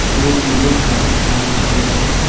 दो पिलो है white colour का।